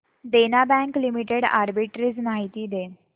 देना bank limited arbitrage माहिती दे